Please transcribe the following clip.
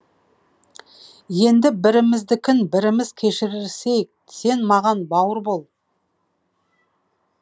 енді біріміздікін біріміз кешірісейік сен маған бауыр бол